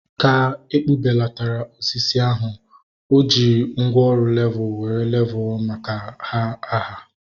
Ka ekpubelatara osisi ahu, o ji mgwooru levul were leele ma ha aha